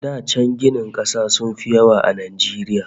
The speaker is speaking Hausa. Da can ginin kasa sun fi yawa a Najeriya